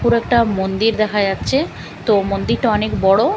পুরো একটা মন্দির দেখা যাচ্ছে তো মন্দিরটা অনেক বড়ো ।